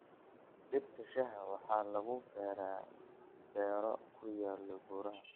Dhirta shaaha waxaa lagu beeraa beero ku yaal buuraha.